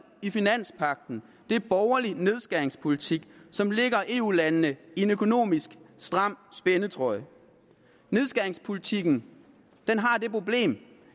i finanspagten er borgerlig nedskæringspolitik som lægger eu landene i en økonomisk stram spændetrøje nedskæringspolitikken har det problem